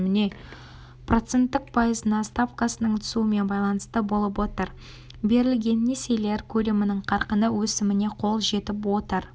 проценттік пайызына ставкасының түсуімен байланысты болып отыр берілген несиелер көлемінің қарқыны өсіміне қол жетіп отыр